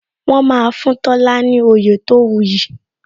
Wọn máa fún Tola ní oyè tó wu yi